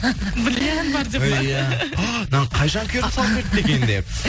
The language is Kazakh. бриллиант бар деп па иә ааа мынаны қай жанкүйерім салып жіберді екен деп